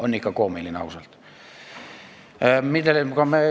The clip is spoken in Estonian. On ikka koomiline, ausalt!